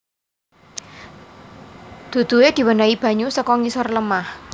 Duduhe diwenehi banyu saka ngisor lemah